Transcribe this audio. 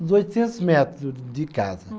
Uns oitocentos metros de casa. Hum.